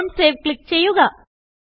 don't Saveക്ലിക്ക് ചെയ്യുക